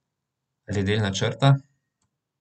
Ali del načrta?